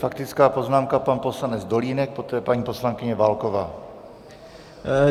Faktická poznámka pan poslanec Dolínek, poté paní poslankyně Válková.